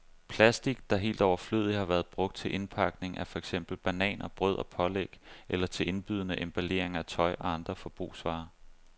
Plastic, der helt overflødigt har været brugt til indpakning af for eksempel bananer, brød og pålæg eller til indbydende emballering af tøj og andre forbrugsvarer.